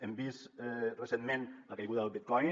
hem vist recentment la caiguda del bitcoin